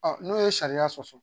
n'o ye sariya sɔsɔ